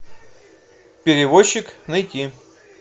перевозчик найти